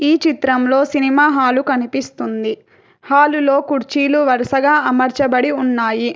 చిత్రంలో cinema hall కనిపిస్తుంది హాలులో కుర్చీలు వరుసగా అమర్చబడి ఉన్నాయి.